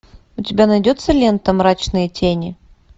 у тебя найдется лента мрачные тени